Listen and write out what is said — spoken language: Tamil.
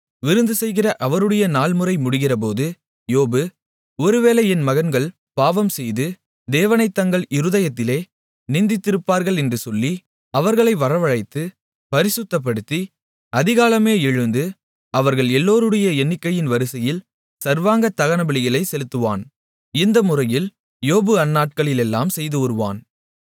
விருந்துசெய்கிற அவரவருடைய நாள்முறை முடிகிறபோது யோபு ஒருவேளை என் மகன்கள் பாவம் செய்து தேவனைத் தங்கள் இருதயத்திலே நிந்தித்திருப்பார்கள் என்று சொல்லி அவர்களை வரவழைத்து பரிசுத்தப்படுத்தி அதிகாலமே எழுந்து அவர்கள் எல்லோருடைய எண்ணிக்கையின் வரிசையில் சர்வாங்க தகனபலிகளைச் செலுத்துவான் இந்த முறையில் யோபு அந்நாட்களிலெல்லாம் செய்துவருவான்